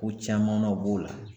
Ko caman nɔ b'o la